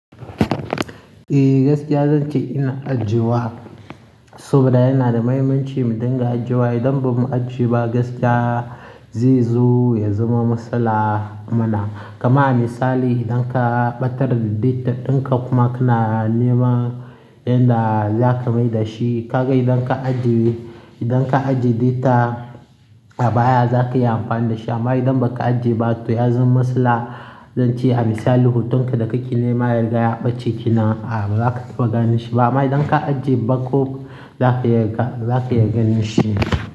Eh gaskiya zan ce ina ajiyewa, saboda yana da muhimmanci mu dinga ajiyewa. Idan ba mu ajiye ba gaskiya zai zo ya zama matsala mana. Kaman a misali idan ka ɓatar da data ɗinka kuma kana nema inda zaka mai da shi, kaga idan ka ajiye, idan ka ajiye data a baya zaka iya amfani da shi. Amma idan baka ajiye ba to ya zama matsala. Zan ce a misali hotonka da kake nema yanzu ya ɓace ki nan ah ba za ka taɓa ganin shi ba. Amma idan ka ajiye bakkop zaka iya ka, zaka iya ganinshi.